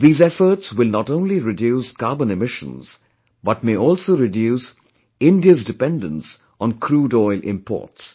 These efforts will not only reduce carbon emissions but may also reduce India's dependence on crude oil imports